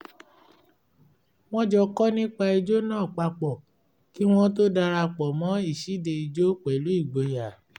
wọ́n jọ kọ́ nípa ijó náà papọ̀ kí wọ́n tó dara pọ̀ mọ́ ìṣíde ìjó pẹ̀lú ìgboyà